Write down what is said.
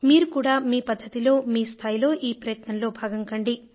మీరు కూడా మీ పద్ధతిలో మీ స్థాయిలో ఈ ప్రయత్నంలో భాగం కండి